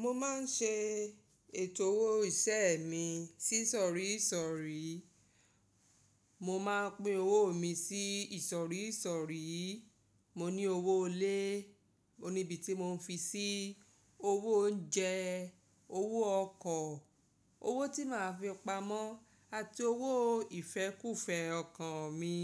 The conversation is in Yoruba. Mo máa ń ṣe ètò owó iṣẹ́ mi sí ìsọ̀rí ìsọ̀rí. Mo máa ń pín owó mi sí ìsọ̀rí ìsọ̀rí. Mo ní owó ilé. O níbi tí mò ń fi sí owó oúnjẹ, owó ọkọ̀, owó tí màá fi pamọ́ àti owó ìfẹ́kúfẹ̀ẹ́ ọkàn mi.